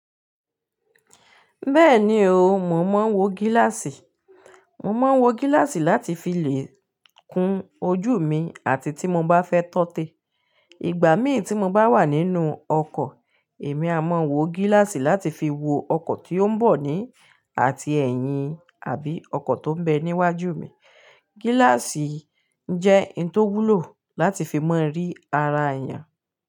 Bẹ́ẹ̀ni o, mò ń máa ń wọ gíláàsì. Mò ń máa ń wọ gíláàsì láti fi lè kun ojú mi àti tí mo bá fẹ́ tọ́tẹ. Ìgbà mí tí mo bá wà ninú òkò, èmi à máa wò gíláàsì láti fi wo òkò tí ó ń bó ni áti eyín àbí òkò tó béè ní wájú mi gíláàsì jẹ́ un tó wúlò láti fi mọ rí ara èèyàn.